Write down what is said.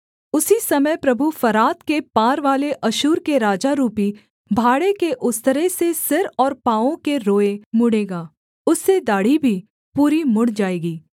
उसी समय प्रभु फरात के पारवाले अश्शूर के राजा रूपी भाड़े के उस्तरे से सिर और पाँवों के रोएँ मूँण्ड़ेगा उससे दाढ़ी भी पूरी मुड़ जाएगी